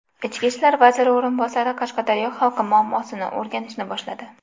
Ichki ishlar vaziri o‘rinbosari Qashqadaryo xalqi muammosini o‘rganishni boshladi.